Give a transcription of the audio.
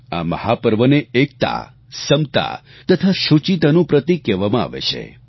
આ મહાપર્વને એકતા સમતા તથા શૂચિતાનું પ્રતિક કહેવામાં આવે છે